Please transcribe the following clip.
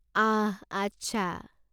আহ! আচ্ছা।